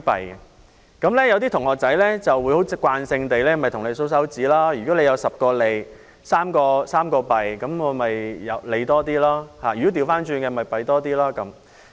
有些參加比賽的同學會慣性地數算，如果有10個利 ，3 個弊，那便是利多一點；相反，便是弊多一點。